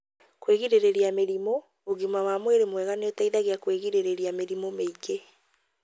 Kwĩgirĩrĩria mĩrimũ: ũgima wa mwĩrĩ mwega nĩ ũtũteithagia kwĩgirĩrĩria mĩrimũ mĩngĩ.